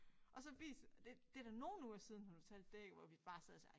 Og så vis det det da nogle uger siden hun fortalte det ik hvor vi bare sad og sagde ej